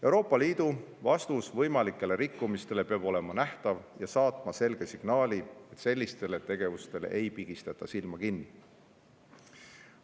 Euroopa Liidu vastus võimalikele rikkumistele peab olema nähtav ja saatma selge signaali, et sellistele tegevustele ei pigistata silma kinni.